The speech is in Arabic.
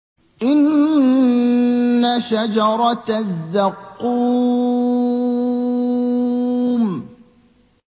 إِنَّ شَجَرَتَ الزَّقُّومِ